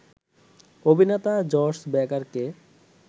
অভিনেতা জর্জ বেকারকে